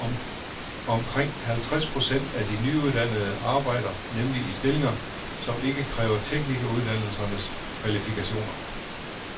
Omkring halvtreds procent af de nyuddannede arbejder nemlig i stillinger, som ikke kræver teknikeruddannelsernes kvalifikationer.